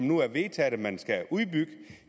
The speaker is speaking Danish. nu er vedtaget at man skal udbygge